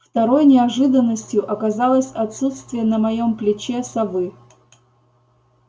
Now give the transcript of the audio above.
второй неожиданностью оказалось отсутствие на моём плече совы